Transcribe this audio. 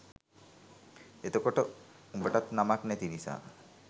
එතකොට උඹටත් නමක් නැති නිසා